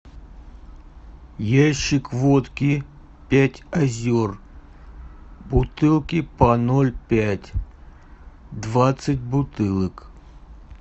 ящик водки пять озер бутылки по ноль пять двадцать бутылок